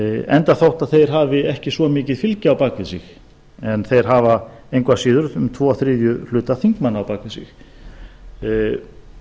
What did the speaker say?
enda þótt þeir hafi ekki svo mikið fylgi á bak við sig en þeir hafa engu að síður um tvo þriðju hluta þingmanna á bak við